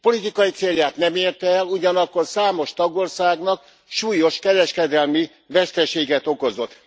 Politikai célját nem érte el, ugyanakkor számos tagországnak súlyos kereskedelmi veszteséget okozott.